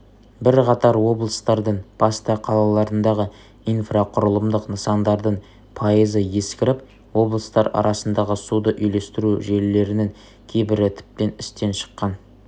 бірқатар облыстардың басты қалаларындағы инфрақұрылымдық нысандардын пайызы ескіріп облыстар арасындағы суды үйлестіру желілерінің кейбірі тіптен істен шыққан